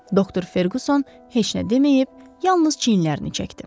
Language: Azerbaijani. Doktor Ferquson heç nə deməyib, yalnız çiyinlərini çəkdi.